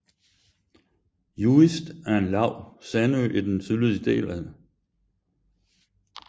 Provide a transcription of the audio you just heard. Juist er en lav sandø i den sydlige del af Nordsøen i Landkreis Aurich i den tyske delstat Niedersachsen